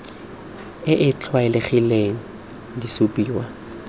e e tlwaelegileng di supiwa